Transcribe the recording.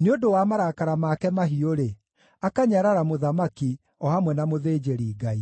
nĩ ũndũ wa marakara make mahiũ-rĩ, akanyarara mũthamaki, o hamwe na mũthĩnjĩri-Ngai.